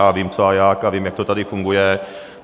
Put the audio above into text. Já vím, co a jak a vím, jak to tady funguje.